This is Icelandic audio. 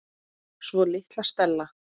Svo litla Stella.